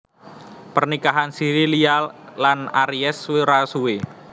Pernikahan siri Lia lan Aries ora suwé